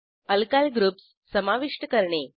alkyl groups समाविष्ट करणे